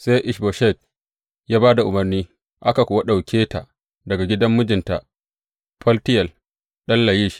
Sai Ish Boshet ya ba da umarni, aka kuwa ɗauke ta daga gidan mijinta Faltiyel ɗan Layish.